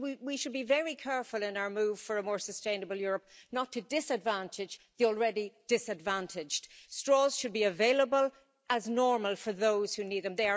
So we should be very careful in our move for a more sustainable Europe not to disadvantage the already disadvantaged. Straws should be available as normal for those who need them.